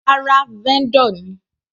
Rárá, vendor ni.